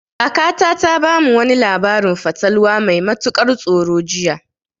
Kakata ta bamu wani labarin fatalwa mai matukar tsoro jiya.